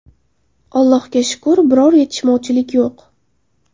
Allohga shukr, biror yetishmovchilik yo‘q.